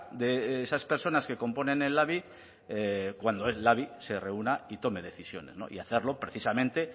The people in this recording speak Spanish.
de esas personas que componen el labi cuando el labi se reúna y tome decisiones y hacerlo precisamente